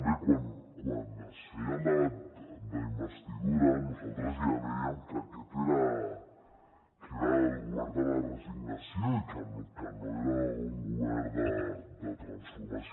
bé quan es feia el debat d’investidura nosaltres ja dèiem que aquest era el govern de la resignació i que no era un govern de transformació